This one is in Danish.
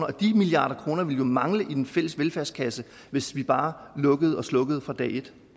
og de milliarder kroner ville jo mangle i den fælles velfærdskasse hvis vi bare lukkede og slukkede fra dag et